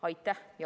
Aitäh!